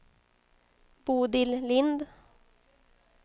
Bodil Lind